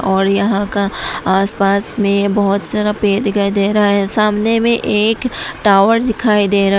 और यहां का आसपास में बहुत सारा पेड़ दिखाई दे रहा है सामने में एक टावर दिखाई दे रहा है।